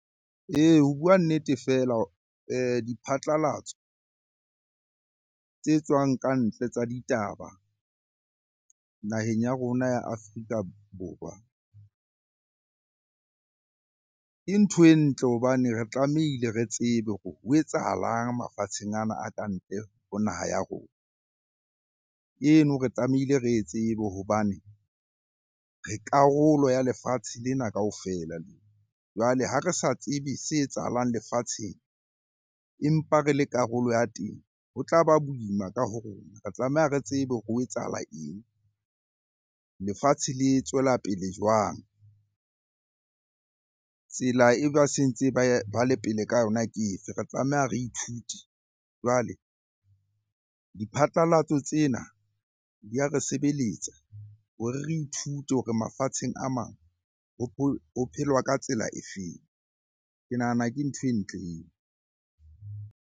Ee, ho bua nnete feela diphatlalatso tse tswang ka ntle tsa ditaba naheng ya rona ya Afrika Borwa ke ntho e ntle. Hobane re tlamehile re tsebe hore ho etsahalang mafatsheng ana a kantle ho naha ya rona. Eno re tlamehile re e tsebe hobane re karolo ya lefatshe lena kaofela. Jwale ha re sa tsebe se etsahalang lefatsheng empa re le karolo ya teng, ho tlaba boima ka ha rona. Re tlameha re tsebe hore ho etsahala eng? Lefatshe le tswela pele jwang? Tsela e ba se ntse ba le pele ka yona ke e fe? Re tlameha re ithute. Jwale diphatlalatso tsena di a re sebeletsa hore re ithute hore mafatsheng a mang ho phelwa ka tsela e feng? Ke nahana ke ntho e ntle eo.